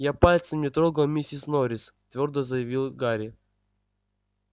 я пальцем не трогал миссис норрис твёрдо заявил гарри